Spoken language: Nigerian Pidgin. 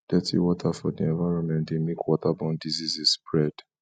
dirty water for di environment de make waterborne diseases spread